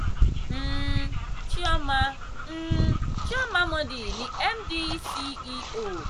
um chioma um chioma mordi ni md/ceo